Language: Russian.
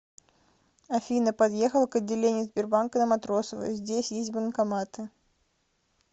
афина подъехала к отделению сбербанка на матросова здесь есть банкоматы